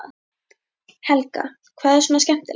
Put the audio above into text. Helga: Hvað er svona skemmtilegt?